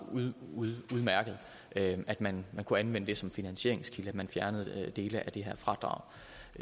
udmærket at at man kunne anvende det som finansieringskilde så man fjernede dele af det her fradrag